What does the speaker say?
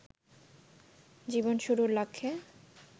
জীবন শুরুর লক্ষ্যে